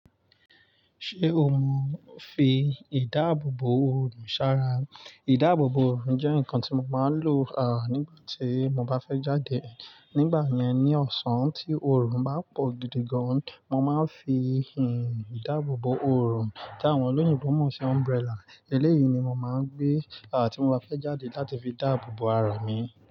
Ṣé o mọ fi ìdáàbòbò òrùn ṣàrà? Ìdáàbòbò òrùn jẹ́ nǹkan tí mo máa ń lò à nígbà tí mo bá fẹ́ jáde. Nígbà yẹn, ní ọ̀sán tí òrùn bá pọ̀ gidi gan, mo máa ń fi ìhìn ìdáàbòbò òrùn, tí àwọn olóyìnbo mọ̀ sí umbrella. Eléyìí ni mo máa ń gbé à tí mo bá fẹ́ jáde láti fi dáàbò bo ara mi.